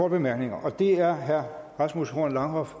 bemærkninger og det er herre rasmus horn langhoff